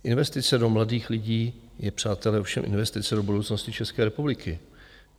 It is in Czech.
Investice do mladých lidí je přátelé ovšem investice do budoucnosti České republiky.